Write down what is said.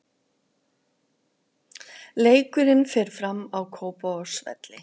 Leikurinn fer fram á Kópavogsvelli.